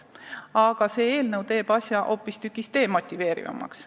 Aga eelnõu teeb selle hoopistükkis demotiveerivamaks.